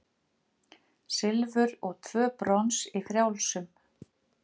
Silfur og tvö brons í frjálsum